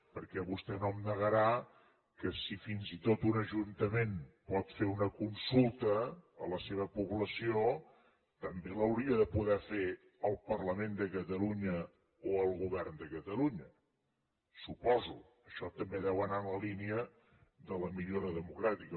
perquè vostè no em negarà que si fins i tot un ajuntament pot fer una consulta a la seva població també l’hauria de poder fer el parlament de catalunya o el govern de catalunya suposo això també deu anar en la línia de la millora democràtica